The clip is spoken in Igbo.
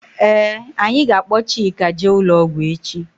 Ee anyị ga -akpo Chika jee ụlọ ọgwụ echi.